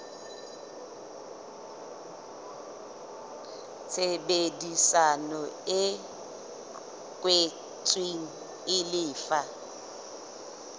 tshebedisano e kwetsweng e lefa